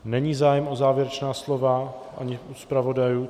Není zájem o závěrečná slova, ani u zpravodajů.